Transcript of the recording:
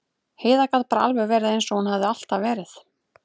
Heiða gat bara alveg verið eins og hún hafði alltaf verið.